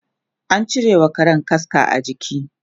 an cirewa Karan kaska a jiki